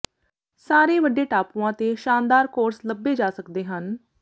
ਸਾਰੇ ਵੱਡੇ ਟਾਪੂਆਂ ਤੇ ਸ਼ਾਨਦਾਰ ਕੋਰਸ ਲੱਭੇ ਜਾ ਸਕਦੇ ਹਨ